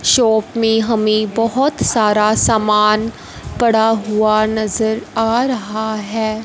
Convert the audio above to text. Shop में हमें बहोत सारा सामान पड़ा हुआ नजर आ रहा है।